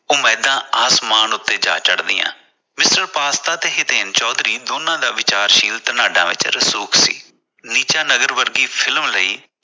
ਉਮੀਦਾਂ ਅਸਮਾਨ ਤੇ ਜਾ ਚੜ ਦੀਆਂ Mrpasta ਤੇ ਚੌਧਰੀ ਦੋਨਾ ਦਾ ਵਿਚਾਰਸ਼ੀਲ ਧਨਾਡਾ ਵਿਚ ਰਸੂਕ ਸੀ ਨੀਚਾਨਗਰ ਵਰਗੀ ਫਿਲਮ ਲਈ